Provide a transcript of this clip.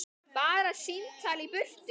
Bara símtal í burtu.